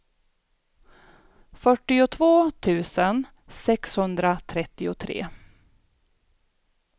fyrtiotvå tusen sexhundratrettiotre